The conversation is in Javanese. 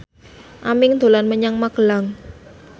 Aming dolan menyang Magelang